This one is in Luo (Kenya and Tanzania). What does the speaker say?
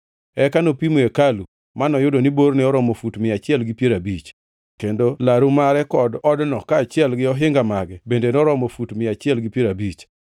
Eka nopimo hekalu; manoyudo ni borne oromo fut mia achiel gi piero abich, kendo laru mare kod odno kaachiel gi ohinga mage bende noromo fut mia achiel gi piero abich.